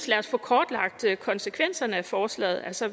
lad os få kortlagt konsekvenserne af forslaget altså